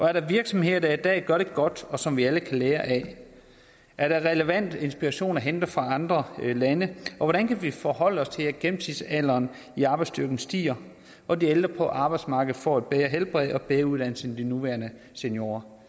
er der virksomheder der i dag gør det godt og som vi alle kan lære af er der relevant inspiration at hente fra andre lande og hvordan kan vi forholde os til at gennemsnitsalderen i arbejdsstyrken stiger når de ældre på arbejdsmarkedet får et bedre helbred og bedre uddannelse end de nuværende seniorer